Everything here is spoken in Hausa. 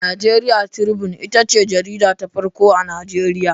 Nigeria Tribune ita ce jarida ta farko a Najeriya.